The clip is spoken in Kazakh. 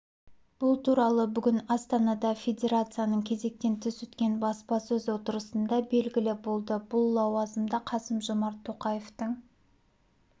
бұл туралы бүгін астанада федерацияның кезектен тыс өткен баспасөз отырысында белгілі болды бұл лауазымда қасым-жомарт тоқаевтың